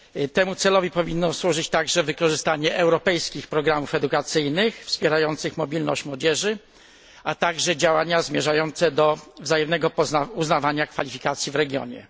Temu celowi powinno służyć także wykorzystanie europejskich programów edukacyjnych wspierających mobilność młodzieży, a także działania zmierzające do wzajemnego uznawania kwalifikacji w regionie.